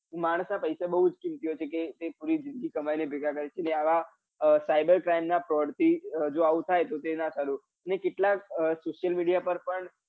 માણસ ના પૈસા બૌ જ કિંમતી હોય છે કમ કે પુરી જિંદગી કમાઈને ભેગા કરે છે અને આવા cyber crime ના fraud થી હજુ એવું થાય તો ના સારું અને કેટલા social media પર પણ